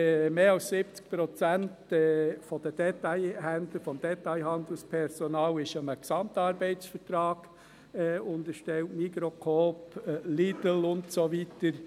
Mehr als 70 Prozent der Detailhändler, des Detailhandelspersonals, sind einem Gesamtarbeitsvertrag (GAV) unterstellt: Migros, Coop, Lidl und so weiter.